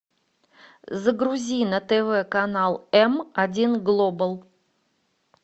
загрузи на тв канал м один глобал